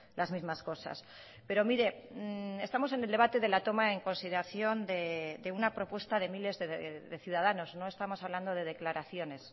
las mismas cosas pero mire estamos en el debate de la toma en consideración de una propuesta de miles de ciudadanos no estamos hablando de declaraciones